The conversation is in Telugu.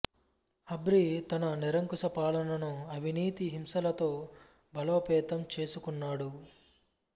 హబ్రి తన నిరకుశ పాలనను అవినీతి హింసలతో బలోపేతం ఛెసుకున్నాడు